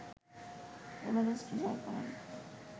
Everest জয় করেন